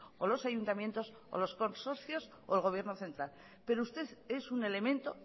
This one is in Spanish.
o los ayuntamientos o los consorcios o el gobierno central pero usted es un elemento